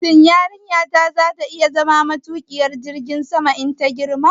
Shin yarinyata za ta iya zama matuƙiyar jirgin sama in ta girma?